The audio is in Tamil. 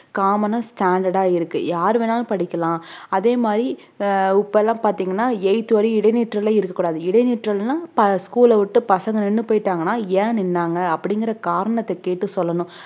common ஆ standard ஆ இருக்கு யார் வேணாலும் படிக்கலாம் அதே மாதிரி அஹ் இப்பெல்லாம் பாத்தீங்கன்னா eighth வரையும் இடைநிற்றலே இருக்க கூடாது இடைநிற்றல்னா ப~ school அ விட்டு பசங்க நின்னு போயிட்டாங்கனா ஏன் நின்னாங்க அப்படிங்கற காரணத்த கேட்டு சொல்லணும்